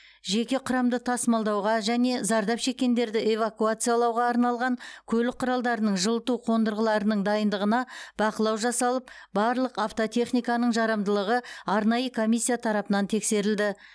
жеке құрамды тасымалдауға және зардап шеккендерді эвакуациялауға арналған көлік құралдарының жылыту қондырғыларының дайындығына бақылау жасалып барлық автотехниканың жарамдылығы арнайы комиссия тарапынан тексерілді